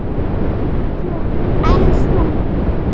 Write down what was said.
En þú?